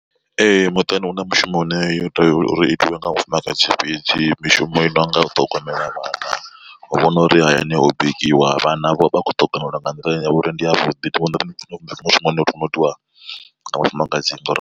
Ee muṱani huna mushumo une yo tea uri itiwe nga mufumakadzi fhedzi mishumo i nonga u ṱhogomela vhana, u vhona uri hayani ho bikiwa vhana vha kho ṱhogomelwa nga nḓila ine yavha uri ndi ya vhuḓi u itiwa nga mufumakadzi ngori.